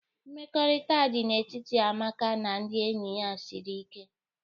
Mmekọrịta dị n'etiti Amaka na ndị enyi ya siri ike.